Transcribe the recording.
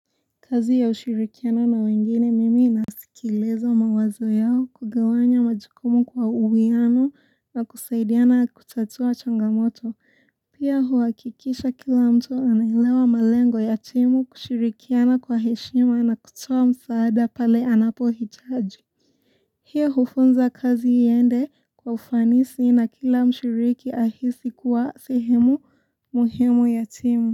Kazi ya ushirikiano na wengine mimi nasikiliza mawazo yao kugawanya majukumu kwa uwiano na kusaidiana kutatua changamoto. Pia huhakikisha kila mtu anaelewa malengo ya timu kushirikiana kwa heshima na kutoa msaada pale anapohitaji. Hiyo hufunza kazi yaende kwa ufanisi na kila mshiriki ahisi kuwa sehemu muhimu ya timu.